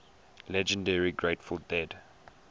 legendary grateful dead